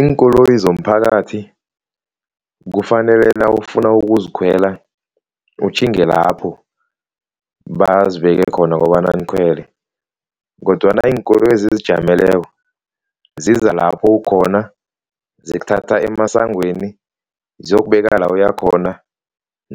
Iinkoloyi zomphakathi kufanele nawufuna ukuzikhwela utjhinge lapho bazibeke khona kobana nikhwele, kodwana iinkoloyi ezizijameleko ziza lapho ukhona zikuthatha emasangweni, ziyokubeka la uyakhona